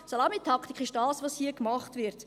Salamitaktik ist das, was jetzt hier gemacht wird.